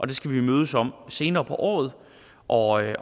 det skal vi mødes om senere på året året